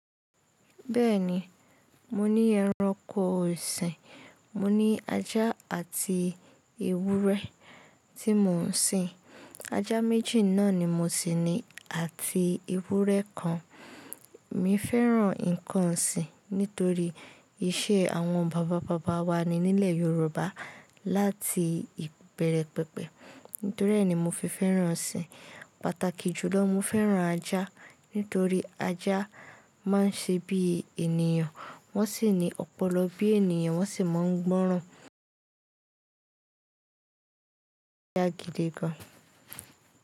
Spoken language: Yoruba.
Bẹ́ẹ̀ni, mo ní ẹranko ọ̀sìn, mo ní ajá àti ewúrẹ́ tí mò ń sìn. Ajá méjì náà ni mo si ní àti ewúrẹ́ kan. Emi fẹ́ràn ǹkan ọ̀sìn nítorí ìṣe àwọn bàbá bàbá wa ní nílẹ̀ Yorùbá láti ìbẹ̀rẹ̀ pẹ̀pẹ̀. Nítorí ẹ́ ni mo fi fẹ́ràn ọ̀sìn. Pàtàkì jùlọ, mo fẹ́ràn ajá nítorí ajá máa ń ṣe bí ènìyàn, wọ́n sì ní ọpọlọ bí ènìyàn, wọ́n sì máa ń gbọ́ràn. Ajá gidi gan.